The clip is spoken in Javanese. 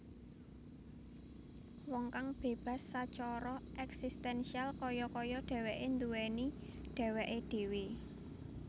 Wong kang bébas sacara èksistènsial kaya kaya dhèwèké nduwèni dhèwèké dhèwè